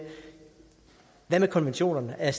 konventionerne er